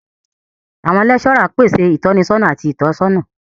Awọn lecturers pese itọnisọna ati itọsọna.